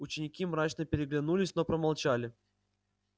ученики мрачно переглянулись но промолчали